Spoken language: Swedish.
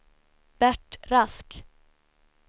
Bert Rask